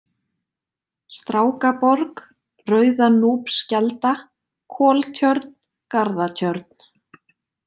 Strákaborg, Rauðanúpskelda, Koltjörn, Garðatjörn